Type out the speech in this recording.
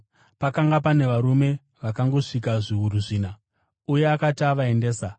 Pakanga pane varume vangangosvika zviuru zvina. Uye akati avaendesa,